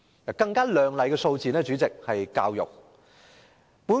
主席，更亮麗的數字是教育的經常開支。